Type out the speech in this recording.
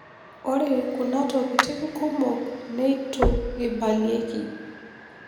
Ore kunatokitin kumok netu eibalieki.